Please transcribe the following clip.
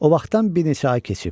O vaxtdan bir neçə ay keçib.